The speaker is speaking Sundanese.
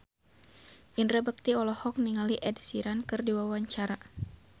Indra Bekti olohok ningali Ed Sheeran keur diwawancara